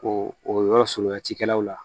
O yɔrɔ surunya cikɛlaw la